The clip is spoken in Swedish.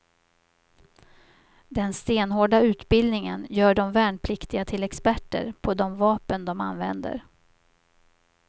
Den stenhårda utbildningen gör de värnpliktiga till experter på de vapen de använder.